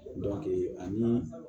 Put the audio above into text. ani